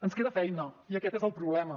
ens queda feina i aquest és el problema